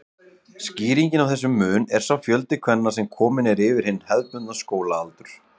Skýringin á þessum mun er sá fjöldi kvenna sem kominn er yfir hinn hefðbundna skólaaldur.